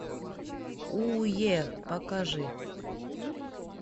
у е покажи